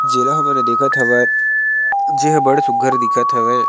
जेला हमन ह देखत हवन जेहा बड़ सुघघर दिखत हवे।